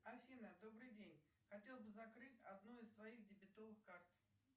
афина добрый день хотела бы закрыть одну из своих дебетовых карт